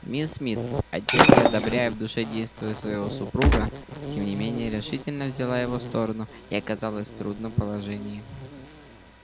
мисс мид отнюдь не одобряя в душе действия своего супруга тем не менее решительно взяла его сторону и оказалась в трудном положении